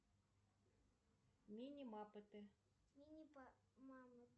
мини маппеты